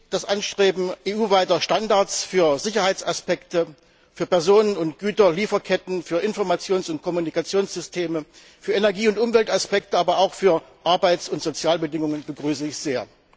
Das Anstreben EU weiter Standards für Sicherheitsaspekte, für Personen und Güter, Lieferketten, für Informations und Kommunikationssysteme, für Energie und Umweltaspekte, aber auch für Arbeits und Sozialbedingungen begrüße ich sehr.